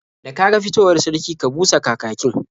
Da ka ga fitowar sarki, ka busa kakakin.